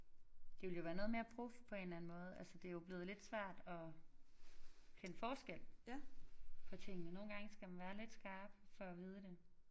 Det ville jo være noget mere prof på en eller anden måde altså det jo blevet lidt svært at kende forskel på tingene nogle gange skal man være lidt skarp for at vide det